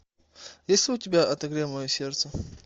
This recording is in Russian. есть ли у тебя отогрей мое сердце